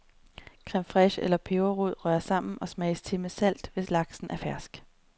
Creme fraiche og peberrod røres sammen og smages til med salt, hvis laksen er fersk.